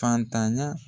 Fatanya